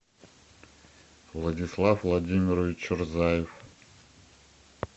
владислав владимирович чурзаев